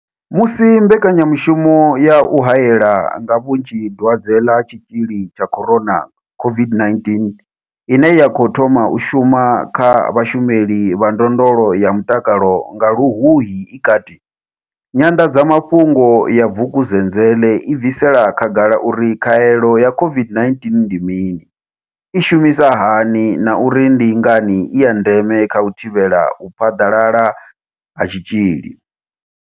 Musi mbekanyamushumo ya u haela nga vhunzhi dwadze ḽa Tshitzhili tsha corona COVID-19 ine ya khou thoma u shuma kha vhashumeli vha ndondolo ya mutakalo nga Luhuhi i kati, Nyanḓadzamafhungo ya Vukuzenzele i bvisela khagala uri khaelo ya COVID-19 ndi mini, i shumisa hani na uri ndi ngani i ya ndeme kha u thivhela u phaḓalala ha tshitzhili.